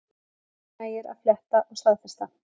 Mörgum nægir að fletta og staðfesta